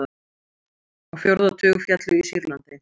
Á fjórða tug féllu í Sýrlandi